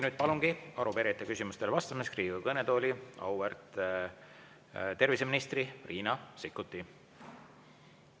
Nüüd palungi arupärijate küsimustele vastamiseks Riigikogu kõnetooli auväärt terviseministri Riina Sikkuti.